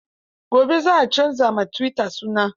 Gobe za a canza wa tuwita suna.